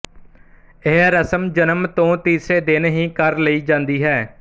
ਇਹ ਰਸਮ ਜਨਮ ਤੋਂ ਤੀਸਰੇ ਦਿਨ ਹੀ ਕਰ ਲਈ ਜਾਂਦੀ ਹੈ